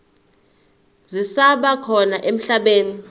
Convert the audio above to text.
zisaba khona emhlabeni